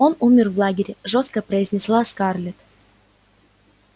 он умер в лагере жёстко произнесла скарлетт